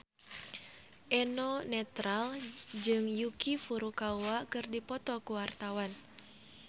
Eno Netral jeung Yuki Furukawa keur dipoto ku wartawan